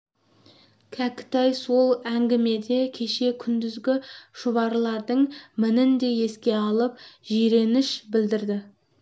кәкітай сол әңгімеде кеше күндізгі шұбарлардың мінін де еске алып жиреніш білдірді